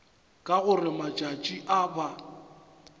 ka gore matšatši a ba